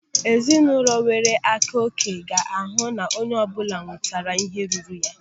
Ezinụlọ enwere akaòké ga-ahụ na onye ọbụla nwetere ihe ruru ya.